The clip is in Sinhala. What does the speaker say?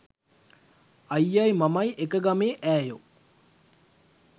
අයියයි මමයි එක ගමේ ඈයෝ